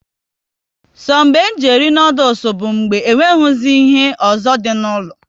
So be nji eri noodules bụ mgbe e nweghịzi ihe ọzọ dị n'ụlọ